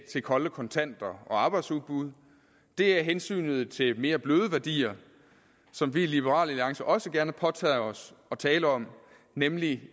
til kolde kontanter og arbejdsudbud det er hensynet til mere bløde værdier som vi i liberal alliance også gerne påtager os at tale om nemlig